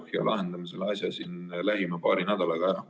korda ja lahendame selle asja siin lähima paari nädalaga ära.